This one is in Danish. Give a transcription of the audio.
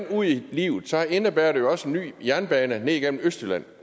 ud i livet indebærer det jo også en ny jernbane ned igennem østjylland